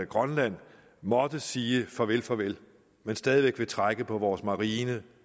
grønland måtte sige farvel farvel men stadig væk vil trække på vores marine